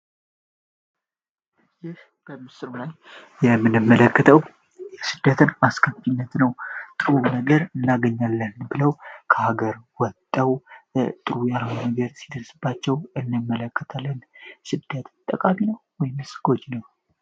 ይህ በምስሉ ላይ የምንመለከተው የስደትን አስከፊነት ነው። ጥሩ ነገር እናገኛለን ብለው ከሀገር ወጠው ጥሩ ያልሆነ ነገር ሲደርስባቸው እንመለከታለን። ስደት ጠቃሚ ነው ወይን ጎጂ?